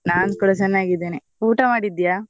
ನಾನ್ ಕೂಡ ಚೆನ್ನಾಗಿದ್ದೇನೆ ಊಟ ಮಾಡಿದ್ಯಾ?